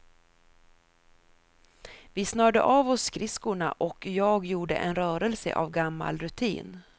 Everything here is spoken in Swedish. Vi snörde av oss skridskorna och jag gjorde en rörelse av gammal rutin.